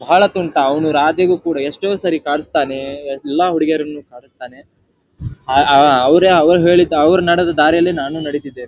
ಬಹಳ ತುಂಟ ಅವನು ರಾಧೆಗೂ ಕೂಡ ಎಷ್ಟೋ ಸರಿ ಕಡಿಸ್ತಾನೇ ಎಲ್ಲ ಹುಡುಗಿಯರನ್ನು ಕಡಿಸ್ತಾನೆ ಆ ಆ ಅವರೇ ಅವ್ರ್ ಹೇಳಿದ್ದ ಅವ್ರ್ ನಡೆದ ದಾರಿಯಲ್ಲಿ ನಾನು ನಡೀತಿದ್ದೇನೆ .